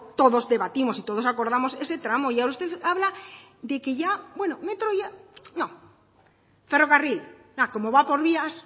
todos debatimos y todos acordamos ese tramo y ya usted habla de que ya bueno metro ya no ferrocarril como va por vías